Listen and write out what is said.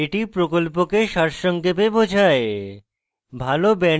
এটি প্রকল্পকে সারসংক্ষেপে বোঝায়